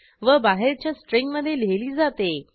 व बाहेरच्या स्ट्रिंगमधे लिहिली जाते